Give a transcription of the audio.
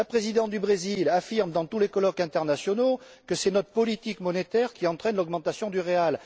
La Présidente du Brésil affirme dans tous les colloques internationaux que c'est notre politique monétaire qui entraîne l'augmentation du réal.